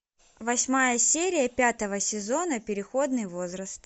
восьмая серия пятого сезона переходный возраст